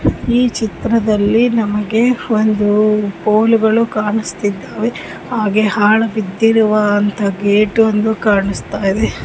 ಈ ಚಿತ್ರದಲ್ಲಿ ನಮಗೆ ಒಂದು ಸ್ಕೂಲ್ ಗಳು ಕಾಣಿಸ್ತಾ ಇದ್ದವು. ಹಾಗೆ ಹಾಲು ಬಿದ್ದಿರುವ ಗೇಟ್ಗಳು ಕಾಣಸ್ತಾಇವೆ .